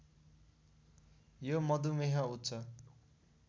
यो मधुमेह उच्च